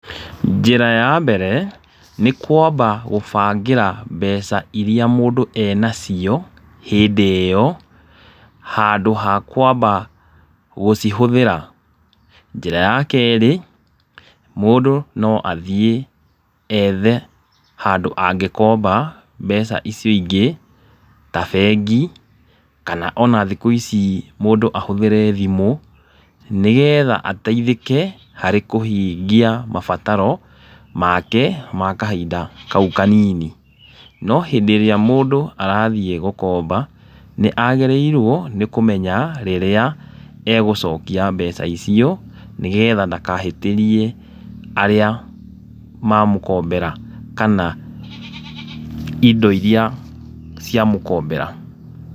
Njĩra ya mbere nĩ kwamba gũbangĩra mbeca iria mũndũ e nacio hĩndi iyo handũ ha kwamba gũcihũthĩra. Njĩra ya kerĩ mũndũ no athiĩ ethe handũ angĩkomba mbeca icio ingĩ ta bengi kana ona thikũ ici mũndũ ahũthĩre thimũ. Nĩ getha ateithĩke harĩ kũhingia mabataro make ma kahinda kau kanini. No hĩndĩ ĩrĩa mũndũ arathiĩ gũkomba nĩ agĩrĩirwo nĩ kũmenya rĩrĩa e gũcokia mbeca icio nĩgetha ndakahĩtĩrie arĩa mamũkombera kana indo iria cia mũkombera.